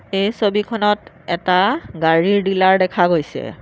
এই ছবিখনত এটা গাড়ীৰ ডিলাৰ দেখা গৈছে।